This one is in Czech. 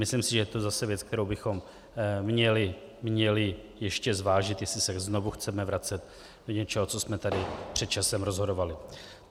Myslím si, že je to zase věc, kterou bychom měli ještě zvážit, jestli se znovu chceme vracet do něčeho, co jsme tady před časem rozhodovali.